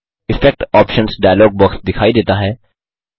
effect options dialog box दिखाई देता है